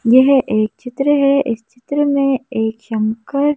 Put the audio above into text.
येह एक चित्र है इस चित्र में एक शंकर--